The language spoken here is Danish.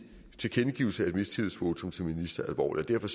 tilkendegivelse af et mistillidsvotum til en minister alvorligt derfor